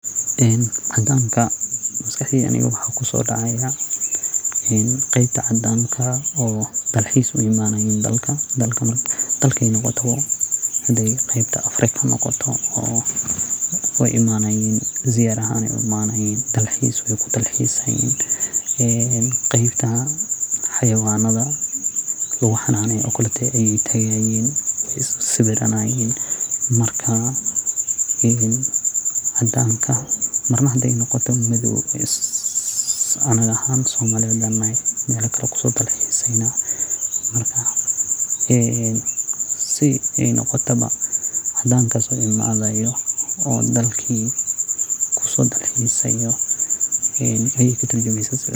Cadankan waxa maskaxdeyda kusodacaya qeybta cadanka oo wadanka uimanayan dalxiis qasatan afrikada oo ziyara ahaan uimanayan dalxiis. Qeybta xayawanada ayey tagayan oo wey siwiraysnini marka cadanka ahaga ahaan hadey noqoto wexey katirjumeysa in wadanka lo dalxiso.